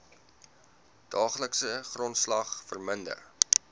daaglikse grondslag verminder